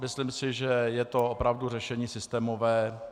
Myslím si, že je to opravdu řešení systémové.